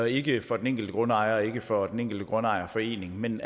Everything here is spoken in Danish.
ikke er for den enkelte grundejer og ikke for den enkelte grundejerforening men